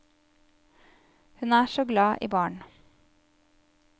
Hun er så glad i barn.